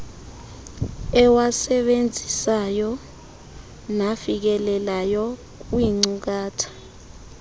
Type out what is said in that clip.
ewasebenzisayo nafikelelayo kwiinkcukacha